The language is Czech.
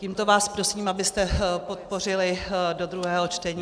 Tímto vás prosím, abyste podpořili do druhého čtení.